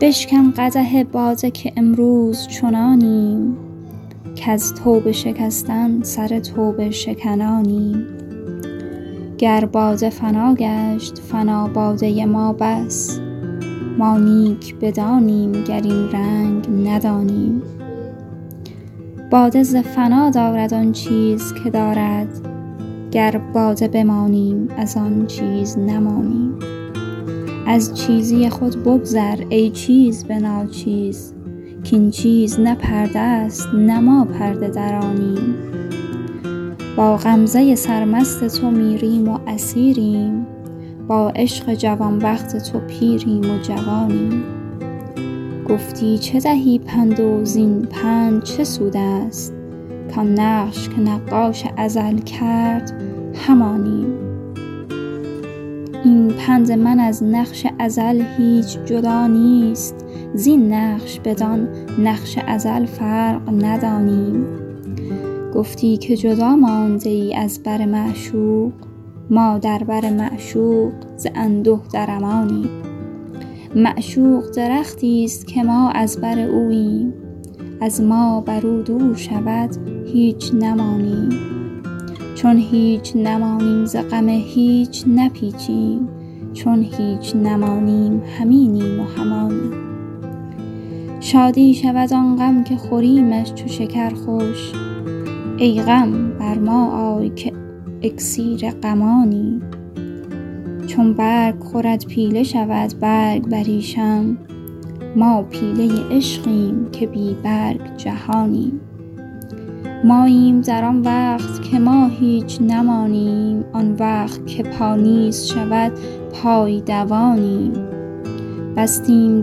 بشکن قدح باده که امروز چنانیم کز توبه شکستن سر توبه شکنانیم گر باده فنا گشت فنا باده ما بس ما نیک بدانیم گر این رنگ ندانیم باده ز فنا دارد آن چیز که دارد گر باده بمانیم از آن چیز نمانیم از چیزی خود بگذر ای چیز به ناچیز کاین چیز نه پرده ست نه ما پرده درانیم با غمزه سرمست تو میریم و اسیریم با عشق جوان بخت تو پیریم و جوانیم گفتی چه دهی پند و زین پند چه سود است کان نقش که نقاش ازل کرد همانیم این پند من از نقش ازل هیچ جدا نیست زین نقش بدان نقش ازل فرق ندانیم گفتی که جدا مانده ای از بر معشوق ما در بر معشوق ز انده در امانیم معشوق درختی است که ما از بر اوییم از ما بر او دور شود هیچ نمانیم چون هیچ نمانیم ز غم هیچ نپیچیم چون هیچ نمانیم هم اینیم و هم آنیم شادی شود آن غم که خوریمش چو شکر خوش ای غم بر ما آی که اکسیر غمانیم چون برگ خورد پیله شود برگ بریشم ما پیله عشقیم که بی برگ جهانیم ماییم در آن وقت که ما هیچ نمانیم آن وقت که پا نیست شود پای دوانیم بستیم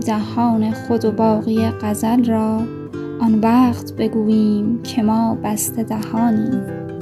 دهان خود و باقی غزل را آن وقت بگوییم که ما بسته دهانیم